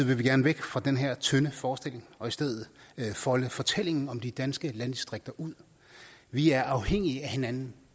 vil vi gerne væk fra den her tynde forestilling og i stedet folde fortællingen om de danske landdistrikter ud vi er afhængige af hinanden